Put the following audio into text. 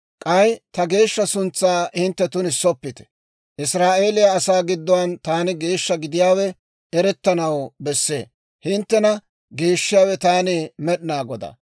K'ay ta geeshsha suntsaa hintte tunissoppite; Israa'eeliyaa asaa giddon taani geeshsha gidiyaawe erettanaw bessee. Hinttena geeshshiyaawe, taani Med'inaa Godaa.